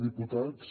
diputats